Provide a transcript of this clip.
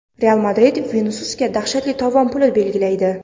"Real Madrid" Vinisiusga dahshatli tovon puli belgilaydi.